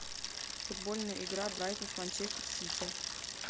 футбольная игра брайтон с манчестер сити